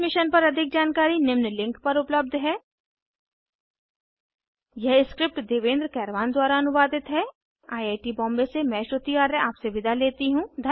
इस मिशन पर अधिक जानकारी निम्न लिंक पर उपलब्ध है httpspoken tutorialorgNMEICT Intro यह स्क्रिप्ट देवेन्द्र कैरवान द्वारा अनुवादित है आईआईटी बॉम्बे की ओर से मैं श्रुति आर्य आपसे विदा लेती हूँ